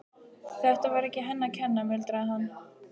Þetta var ekki henni að kenna, muldraði hann.